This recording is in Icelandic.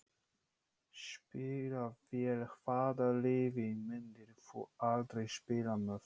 Spila vel Hvaða liði myndir þú aldrei spila með?